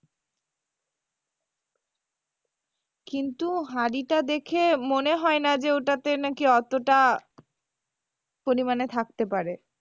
কিন্তু হাড়িটা দেখে মনে হয়না যে ওটাতে নাকি অতোটা, পরিমানে থাকতে পারে।